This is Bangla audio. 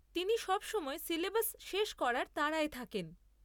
তিনি সবসময় সিলেবাস শেষ করার তাড়ায় থাকেন।